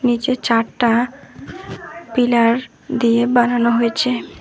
নীচে চারটা পিলার দিয়ে বানানো হয়েছে।